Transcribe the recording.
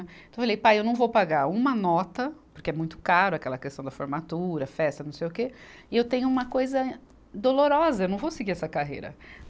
Então eu falei, pai, eu não vou pagar uma nota, porque é muito caro aquela questão da formatura, festa, não sei o quê, e eu tenho uma coisa dolorosa, eu não vou seguir essa carreira.